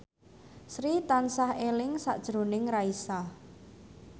Sri tansah eling sakjroning Raisa